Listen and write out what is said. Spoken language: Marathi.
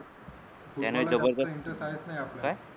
त्याने जबरदस्त काय